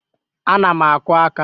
Ana m akụ aka